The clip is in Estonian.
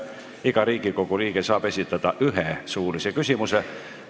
Iga Riigikogu liige saab esitada ühe suulise küsimuse.